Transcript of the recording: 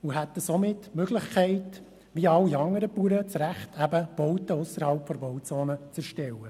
So erhielten sie das Recht, wie alle anderen Bauern ausserhalb der Bauzonen Bauten zu erstellen.